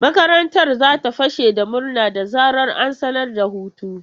Makarantar za ta fashe da murna da zarar an sanar da hutu.